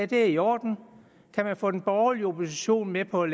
det er i orden kan man få den borgerlige opposition med på at